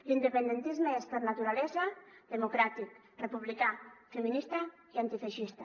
l’independentisme és per naturalesa democràtic republicà feminista i antifeixista